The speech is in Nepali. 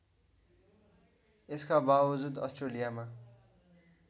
यसका बावजुद अस्ट्रेलियामा